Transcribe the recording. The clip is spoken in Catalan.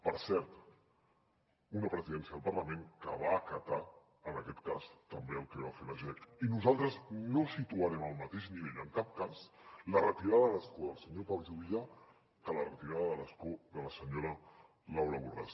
per cert una presidència del parlament que va acatar en aquest cas també el que va fer la jec i nosaltres no situarem al mateix nivell en cap cas la retirada de l’escó del senyor pau juvillà que la retirada de l’escó de la senyora laura borràs